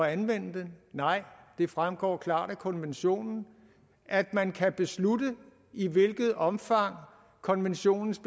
anvende den nej det fremgår klart af konventionen at man kan beslutte i hvilket omfang konventionens